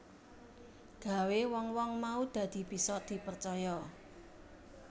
Gawé wong wong mau dadi bisa dipercaya